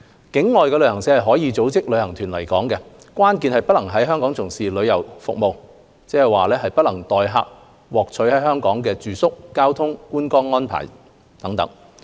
境外旅行社是可以組織旅行團來港的，關鍵是不能在港從事旅遊服務，即代客獲取在港的住宿、交通、觀光遊覽等安排。